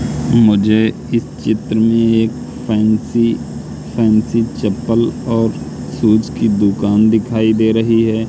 मुझे इस चित्र में एक फैन्सी फैंसी चप्पल और शूज की दुकान दिखाई दे रही हैं।